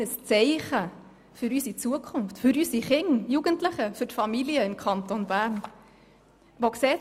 Welches Zeichen für unsere Zukunft, für unsere Jugendliche und Kinder, für die Familien im Kanton Bern wird so gesetzt?